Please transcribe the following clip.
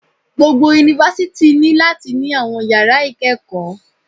Gbogbo Yunifásítì ní láti ní àwọn yàrá ìkẹ́kọ̀ọ́